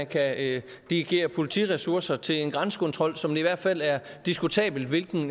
kan dirigere politiressourcer til en grænsekontrol som det i hvert fald er diskutabelt hvilken